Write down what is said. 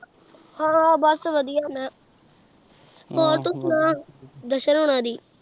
ਹਾਂ ਬਸ ਵਧੀਆ ਮੈਂ ਹੋਰ ਤੂੰ ਸੁਣਾ ਜਸ਼ਨ ਹੁਣਾ ਦੀ।